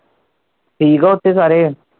ਠੀਕ ਉਥੇ ਸਾਰੇ?